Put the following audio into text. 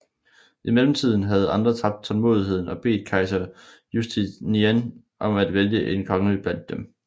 I mellemtiden havde andre tabt tålmodigheden og bedt kejser Justinian om at vælge en konge blandt dem